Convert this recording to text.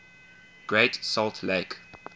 great salt lake